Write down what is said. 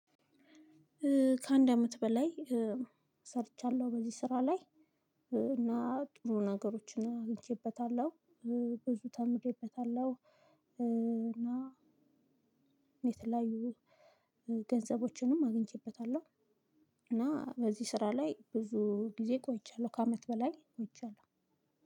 ከአንድ አመት በላይ ሰርቻለሁ። በዚህ ስራ ላይ እና ጥሩ ነገሮችን አግኝቼበታለሁ። ብዙ ተምሬበታለሁ። እና የተለያዩ ገንዘቦችንም አግኝቼበታለሁ። እና በዚህ ስራ ላይ ብዙ ጊዜ ቆይቻለሁ ከአመት በላይ ቆይቻለሁ።